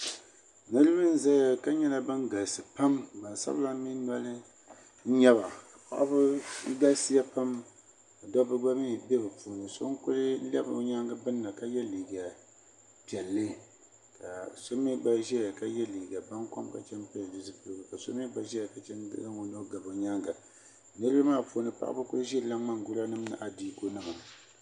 niraba n ʒɛya ka nyɛla ban galisi pam gbansabila mii noli n nyɛba paɣaba galisiya pam dabba gba mii bɛ bi puuni so lɛbi o nyaangi birina ka yɛ liiga piɛlli ka so mii gba ʒiya ka yɛ liiga baŋkom ka chɛŋ n pili di zipiligu ka so mii gba ʒiya ka zaŋ o nuu gabi o nyaanga niraba maa puuni paɣaba ku ʒirila ŋmani gura ni adiiku nima